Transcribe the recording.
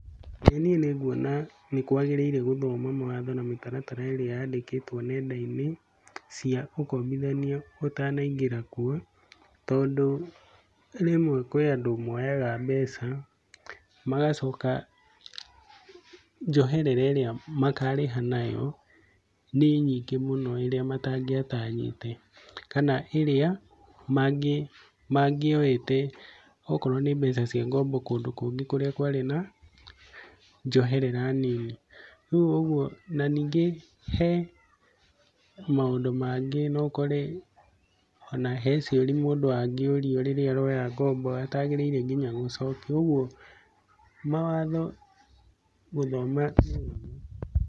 Ĩĩ niĩ nĩ nguona nĩ kwagĩrĩire gũthoma mawatho na mĩtaratara ĩria yandĩkĩtwo nenda-inĩ cia ũkombithania ũtanaingĩra kuo, tondũ rĩmwe kwĩ andũ moyaga mbeca magacoka njoherera ĩrĩa makarĩha nayo nĩ nyingĩ mũno ĩrĩa matangĩatanyĩte kana ĩrĩa mangĩote okorwo nĩ mbeca cia ngombo kũndũ kũngĩ kũrĩa kwarĩ na njoherera nini. Na ningĩ he maũndũ mangĩ no ũkore ona he ciũria mũndũ angĩũrio rĩrĩa ũroya ngombo ũtagĩrĩire nginya gũcokia. Koguo mawatho gũthoma nĩ wega.